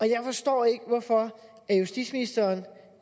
jeg forstår ikke hvorfor justitsministeren